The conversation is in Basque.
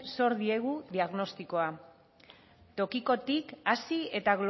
zor diegu diagnostikoa tokikotik hasi eta